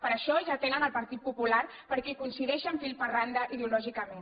per això ja tenen el partit popular perquè hi coincideixen fil per randa ideològicament